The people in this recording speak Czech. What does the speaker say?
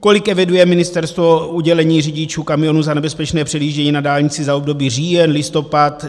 Kolik eviduje ministerstvo udělení řidičům kamionů za nebezpečné předjíždění na dálnici za období říjen, listopad.